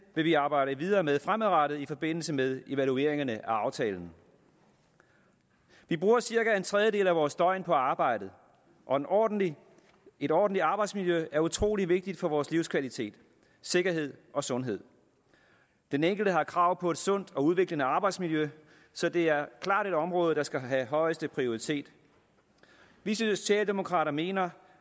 vil vi arbejde videre med fremadrettet i forbindelse med evalueringerne af aftalen vi bruger cirka en tredjedel af vores døgn på arbejdet og et ordentligt et ordentligt arbejdsmiljø er utrolig vigtigt for vores livskvalitet sikkerhed og sundhed den enkelte har krav på et sundt og udviklende arbejdsmiljø så det er klart et område der skal have højeste prioritet vi socialdemokrater mener